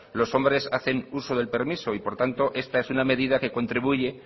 los hombres hacen uso del permiso y por lo tanto esta es una medida que contribuye